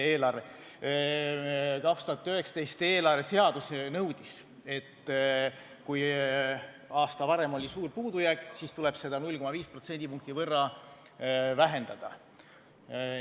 2019. aasta eelarveseadus nõudis, et kui aasta varem oli suur puudujääk, siis tuleb seda 0,5% võrra vähendada.